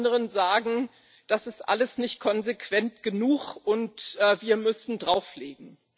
Und die anderen sagen Das ist alles nicht konsequent genug, und wir müssen drauflegen.